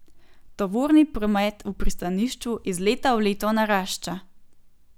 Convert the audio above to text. Tovorni promet v pristanišču iz leta v leto narašča.